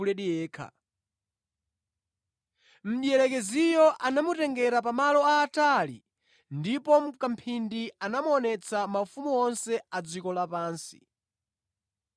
Mdierekezi anamutengera Iye pamalo aatali ndipo mʼkamphindi namuonetsa maufumu onse a dziko lapansi.